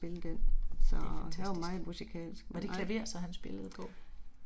Det er fantastisk. Var det klaver så han spillede på?